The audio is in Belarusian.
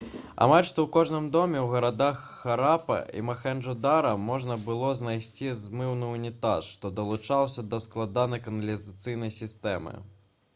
амаль што ў кожным доме ў гарадах харапа і махенджо-дара можна было знайсці змыўны ўнітаз што далучаўся да складанай каналізацыйнай сістэмы